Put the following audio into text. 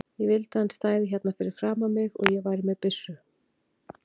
Ég vildi að hann stæði hérna fyrir framan mig og ég væri með byssu.